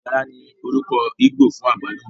Ùdára ní orúkọ íbò fún àgbálùmọ́